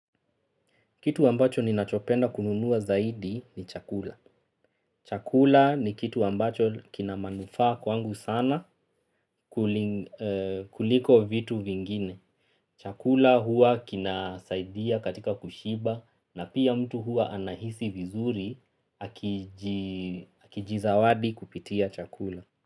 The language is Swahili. Kitu ambacho ninachopenda kununua zaidi ni chakula. Chakula ni kitu ambacho kina manufaa kwangu sana kuliko vitu vingine. Chakula huwa kinasaidia katika kushiba na pia mtu huwa anahisi vizuri akijizawadi kupitia chakula.